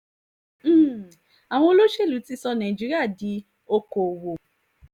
um àwọn olóṣèlú ti sọ nàìjíríà di okoòwò